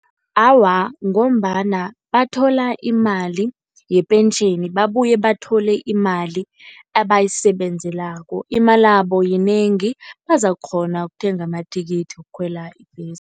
Awa, ngombana bathola imali yepentjheni, babuye bathole imali abayisebenzelako. Imalabo yinengi bazakukghona ukuthenga amathikithi wokukhwela ibhesi.